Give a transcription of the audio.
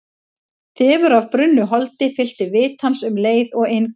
Þefur af brunnu holdi fyllti vit hans um leið og inn kom.